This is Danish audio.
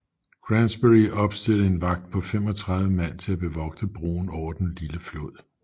Granbury opstillede en vagt på 35 mand til at bevogte broen over den lille flod